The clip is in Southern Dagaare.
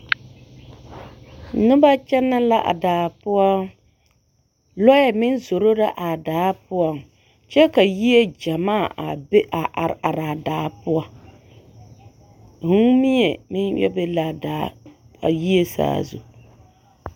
Noba kyɛnɛ la a daa poɔ, lɔɛ meŋ zoro la a daa poɔŋ kyɛ ka yie gyɛmaa a be a are are a daa poɔ, vūū mie meŋ yɛ be la a daa a yie saazu.